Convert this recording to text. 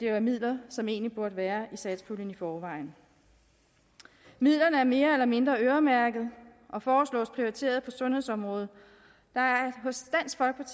er midler som egentlig burde være satspuljen i forvejen midlerne er mere eller mindre øremærket og foreslås prioriteret på sundhedsområdet der er